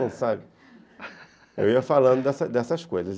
Eu ia falando dessas coisas.